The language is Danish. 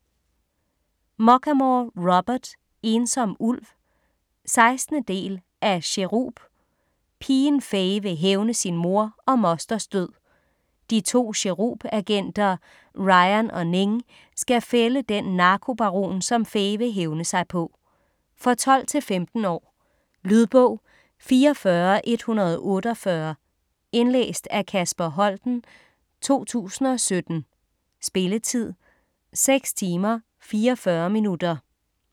Muchamore, Robert: Ensom ulv 16. del af Cherub. Pigen Fay vil hævne sin mor og mosters død. De to Cherub-agenter Ryan og Ning skal fælde den narkobaron, som Fay vil hævne sig på. For 12-15 år. Lydbog 44148 Indlæst af Kasper Holten, 2017. Spilletid: 6 timer, 44 minutter.